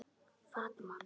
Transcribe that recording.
Fat Man